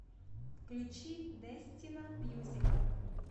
включи дестино мьюзикал